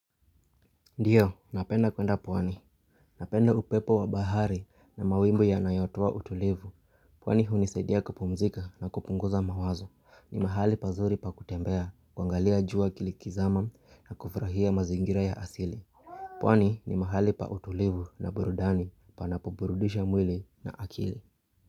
Ndiyo, napenda kwenda pwani. Napenda upepo wa bahari na mawingu yanayotoa utulivu. Pwani hunisaidia kupumzika na kupunguza mawazo. Ni mahali pazuri pa kutembea, kuangalia jua likizama na kufurahia mazingira ya asili. Pwani ni mahali pa utulivu na burudani panapoburudisha mwili na akili.